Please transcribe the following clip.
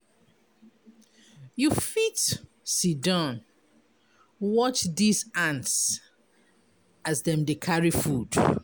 You fit siddon watch dese ants as dem dey carry food.